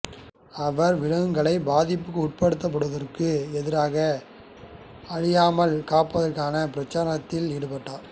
அவர் விலங்குகள் பாதிப்புக்குட்படுத்தப்படுதலுக்கு எதிராக அழியாமல் காப்பதற்கான பிரச்சாரத்தில் ஈடுபட்டார்